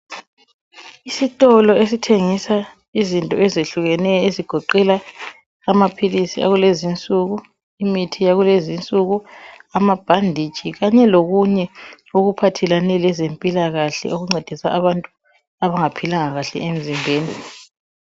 Isitolo esithengisa izinto ezehlukeneyo ezigoqela amaphilisi akulezinsuku, imithi yakulezinsuku amabhanditshi kanye lokunye okuphathelane lezempilakahle okuncedisa abantu abangangaphilanga kahle emzimbeni.